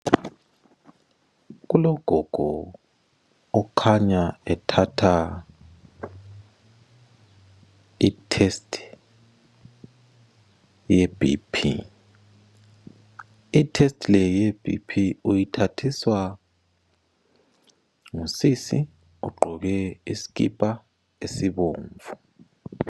Kulogogo okhanya ethatha i testb yeBP, I test le yeBP uyithathiswa ngusisi ogqoke isikipa esibomvu.